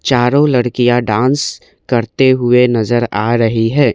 चारो लड़किया डांस करते हुए नजर आ रही है।